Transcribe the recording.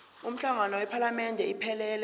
umhlangano wephalamende iphelele